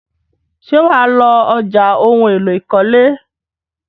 Ṣé wà á lọ ọjà ohun-èlò ìkọ́lé?